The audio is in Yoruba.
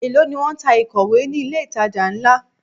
Èló ni wón ń ta ìkọ̀wé ni ilé ìtajà ńlá?